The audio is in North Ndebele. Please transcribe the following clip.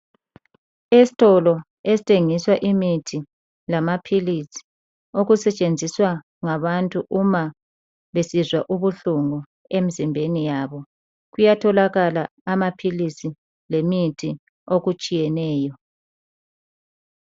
Esitolo esithengiswa imithi lamaphilisi okusetshenziswa ngabantu uma besizwa ubuhlungu emzimbeni yabo. Kuyatholakala amaphilisi lemithi okutshiyeneyo.